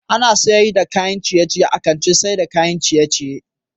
Ana saida kayan ciye ciye a kantin saida kayan ciye ciye